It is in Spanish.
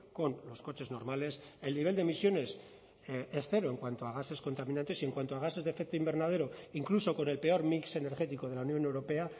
con los coches normales el nivel de emisiones es cero en cuanto a gases contaminantes y en cuanto a gases de efecto invernadero incluso con el peor mix energético de la unión europea